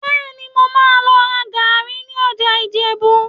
Bẹ́ẹ̀ni, mo máa lọ ra gàárì ní ọjà Ìjẹ̀bú